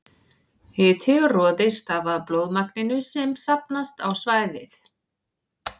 Hiti og roði stafa af blóðmagninu sem safnast á svæðið.